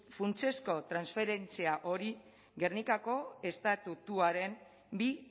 funtsezko transferentzia hori gernikako estatutuaren bi